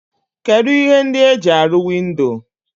Kedu ihe ndi e ji aru windo?